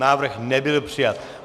Návrh nebyl přijat.